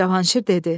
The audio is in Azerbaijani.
Cavanşir dedi: